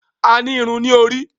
A ní Irun ní orí.